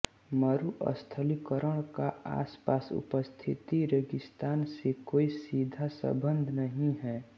मरुस्थलीकरण का आसपास उपस्थित रेगिस्तान से कोई सीधा संबंध नहीं है